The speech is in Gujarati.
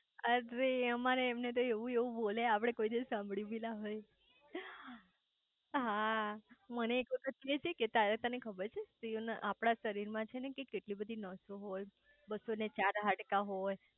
અરે અમારે એમને તો એવું એવું બોલે આપડે કોઈ દિવસ સાંભળું બી ના હોય હા મને એક વખત કે છે કે તને ખબર છે આપડા શરીર માં છે કે કેટલી બધી નસો હોય બસો ચાર હાડકા હોય